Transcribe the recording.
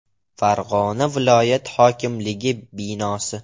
Farg‘ona viloyat hokimligi binosi.